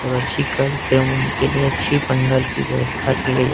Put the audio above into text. और अच्छी कार्यक्रम होने के लिए अच्छी पंडाल की व्यवस्था की गई है।